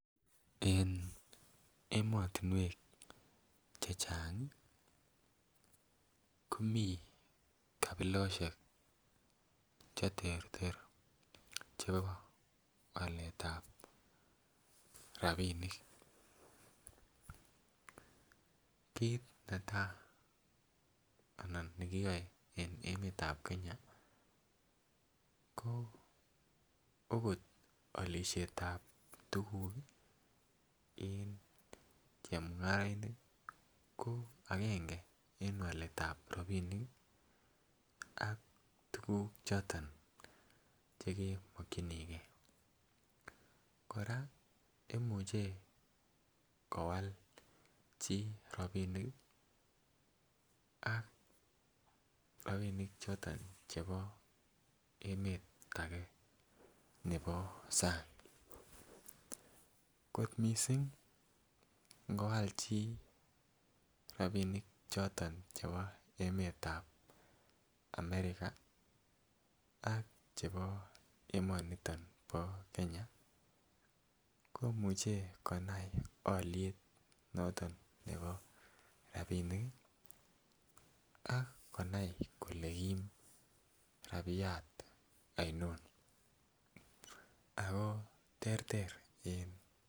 En emotunwek chachangi komii kapiloshek cheterter chebo waletab rabinik, kit netai anan nekiyoe en emetab Kenya ko okot olishetab tukuk en chemungarainik ko agenge en waletab rabinik ak tukuk choton chemokinigee. Koraa imuche kowal chii robinik ak robinik choton chebo emet age nebo sang kot missing ikowal chii rabinik choton chebo emetab American ak chebo emoniton bo Kenya komuche anai oliet noton nebo rabinik kii ak konai kole Kim rabiyat aoinon ako terter en.